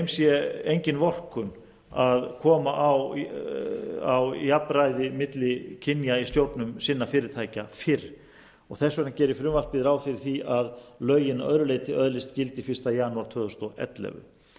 sé engin vorkunn að koma á jafnræði milli kynja í stjórnum sinna fyrirtækja fyrr þess vegna gerir frumvarpið ráð fyrir því að lögin að öðru leyti öðlist gildi fyrsta janúar tvö þúsund og ellefu en